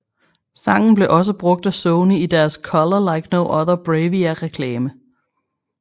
Sangen blev også brugt af Sony i deres Color Like No Other BRAVIA reklame